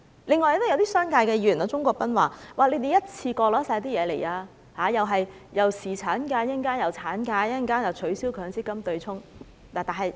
另外，一些商界議員例如鍾國斌議員，說我們一次過提出所有要求，先有侍產假和產假，稍後還要取消強制性公積金對沖。